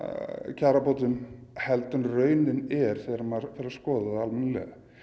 kjarabótum heldur en raunin er þegar maður fer að skoða það almennilega